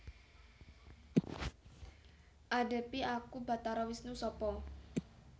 Adhepi aku Batara Wisnu Sapa